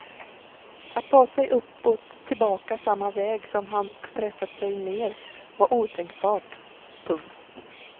Att ta sig uppåt tillbaka samma väg som han pressat sig ner var otänkbart. punkt